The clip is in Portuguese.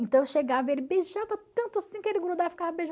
Então eu chegava e ele beijava tanto assim que ele grudava